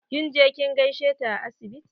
Kin je kin gaishe ta a asibiti?